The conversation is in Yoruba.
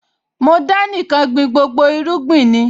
Mo Dánì kàn gbin gbogbo irúgbìn ni